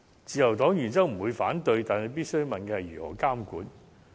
自由黨原則上不會反對這兩項建議，但必須問的是：如何監管。